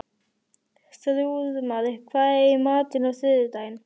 Þrúðmar, hvað er í matinn á þriðjudaginn?